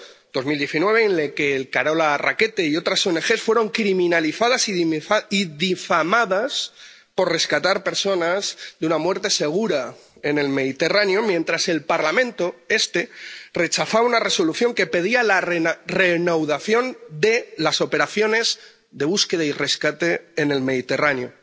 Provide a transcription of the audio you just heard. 2019 fue el año en el que Carola Rackete y otras ONG fueron criminalizadas y difamadas por rescatar a personas de una muerte segura en el Mediterráneo, mientras el Parlamento —este— rechazaba una resolución que pedía la reanudación de las operaciones de búsqueda y rescate en el Mediterráneo